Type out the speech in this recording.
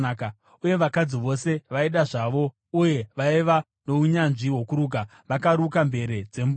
Uye vakadzi vose vaida zvavo uye vaiva nounyanzvi hwokuruka, vakaruka mvere dzembudzi.